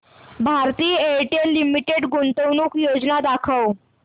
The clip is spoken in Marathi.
भारती एअरटेल लिमिटेड गुंतवणूक योजना दाखव